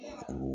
Hɛrɛ